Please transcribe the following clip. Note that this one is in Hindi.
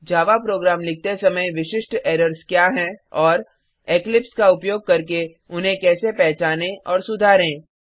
जावा प्रोग्राम लिखते समय विशिष्ट एरर्स क्या हैं और इक्लिप्स का उपयोग करके उन्हें कैसे पहचाने और सुधारें